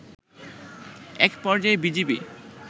একপর্যায়ে বিজিবি